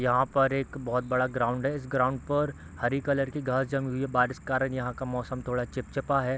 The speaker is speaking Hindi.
यहाँ पर एक बहोत बड़ा ग्राउंड है इस ग्राउंड पर हरी कलर की घास जमी हुई है बारिश के कारण यहाँ का मौसम थोड़ा चिपचिपा है।